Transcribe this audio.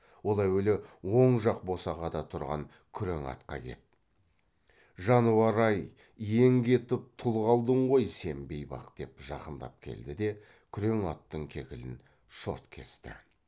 ол әуелі оң жақ босағада тұрған күрең атқа кеп жануар ай иең кетіп тұл қалдың ғой сен бейбақ деп жақындап келді де күрең аттың кекілін шорт кесті